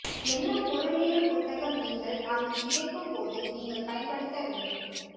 என்ன பொருளியல் புத்தகம் நீங்கள் அங்கு கிடைக்கும் போது நீங்கள் பயன்படுத்த வேண்டும்